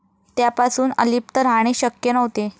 त्यापासून अलिप्त राहणे शक्य नव्हते.